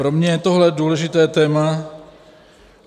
Pro mě je tohle důležité téma.